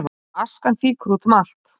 Askan fýkur út um allt